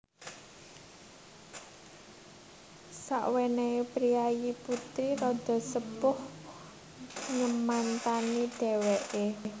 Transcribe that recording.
Sawenehe priyayi putri rada sepuh nyemantani dheweke